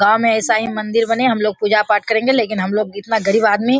गांव मे ऐसा ही मंदिर बने हम लोग पूजा पाठ करेगे लेकिन हम लोग इतना गरीब आदमी --